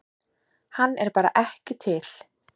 Hann er bara ekki til.